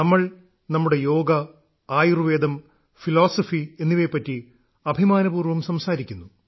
നമ്മൾ നമ്മുടെ യോഗ ആയുർവേദം ഫിലോസഫി എന്നിവയെപ്പറ്റി അഭിമാനപൂർവ്വം സംസാരിക്കുന്നു